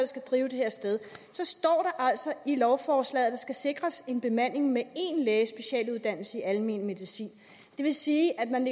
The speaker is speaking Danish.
skal drive det her sted så står der altså i lovforslaget at der skal sikres en bemanding med én læge i almen medicin det vil sige at man